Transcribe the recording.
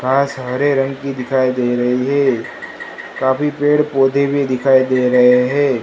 घास हरे रंग की दिखाई दे रही है काफी पेड़ पौधे भी दिखाई दे रहे हैं।